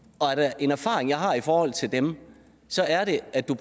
og er der en erfaring jeg har i forhold til dem så er det at du